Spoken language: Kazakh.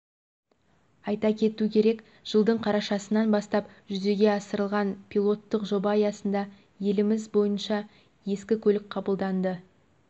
айта кету керек жылдың қарашасынан бастап жүзеге асырылған пилоттық жоба аясында еліміз бойынша ескі көлік қабылданды